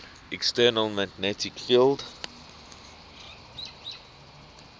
external magnetic field